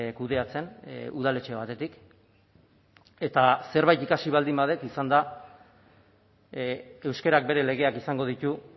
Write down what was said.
kudeatzen udaletxe batetik eta zerbait ikasi baldin badut izan da euskarak bere legeak izango ditu